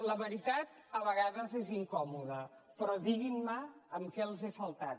la veritat a vegades és incòmoda però diguin me amb què els he faltat